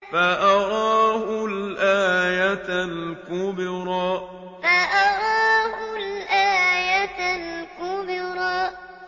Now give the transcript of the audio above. فَأَرَاهُ الْآيَةَ الْكُبْرَىٰ فَأَرَاهُ الْآيَةَ الْكُبْرَىٰ